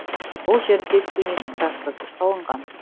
бұл жерде тюнинг трассасы салынған